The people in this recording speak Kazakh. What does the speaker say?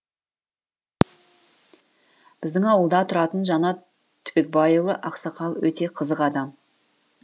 біздің ауылда тұратын жанат түбекбайұлы ақсақал өте қызық адам